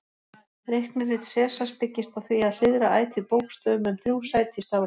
Reiknirit Sesars byggist á því að hliðra ætíð bókstöfum um þrjú sæti í stafrófinu.